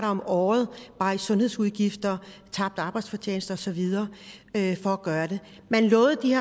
om året bare i sundhedsudgifter tabt arbejdsfortjeneste og så videre for at gøre det man lovede at de